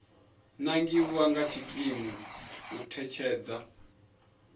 nangiwa nga tshikimu u ṋetshedza